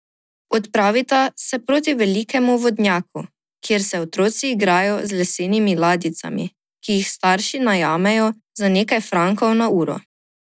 Odpravita se proti velikemu vodnjaku, kjer se otroci igrajo z lesenimi ladjicami, ki jih starši najemajo za nekaj frankov na uro.